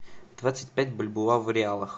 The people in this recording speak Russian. двадцать пять бальбоа в реалах